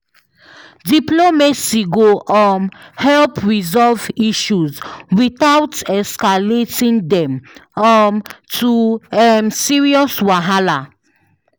Diplomacy go um help resolve issues without escalating them um to um serious wahala.